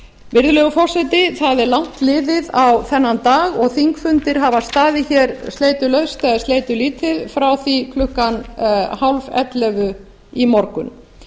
virðulegi forseti það er langt liðið á þennan dag og þingfundir hafa staðið hér sleitulaust eða sleitulítið ár því klukkan tíu þrjátíu í morgun